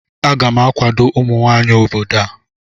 Aga m akwado ụmụnwanyị obodo a